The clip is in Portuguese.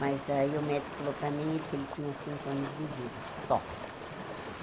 Mas aí o médico falou para mim ele que ele tinha cinco anos de vida, só.